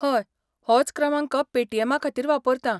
हय, होच क्रमांक पेटीएमा खातीर वापरतां.